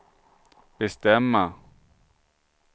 bestämma